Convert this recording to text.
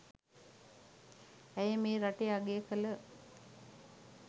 ඇය මේ රටේ අගය කළ